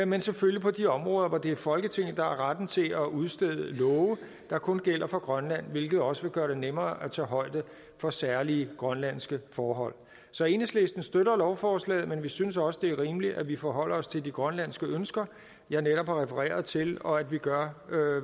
men selvfølgelig på de områder hvor det er folketinget der har retten til at udstede love der kun gælder for grønland hvilket også vil gøre det nemmere at tage højde for særlige grønlandske forhold så enhedslisten støtter lovforslaget men vi synes også det er rimeligt at vi forholder os til de grønlandske ønsker jeg netop har refereret til og at vi gør